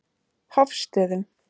Hofstöðum